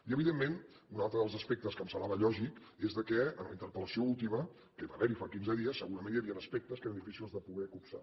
i evidentment un altre dels aspectes que em semblava lògic és que en la interpel·lació última que hi va haver fa quinze dies segurament hi havien aspectes que eren difícils de poder copsar